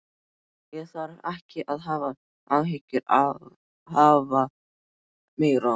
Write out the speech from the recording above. Ég þarf ekki að hafa áhyggjur af afa meira.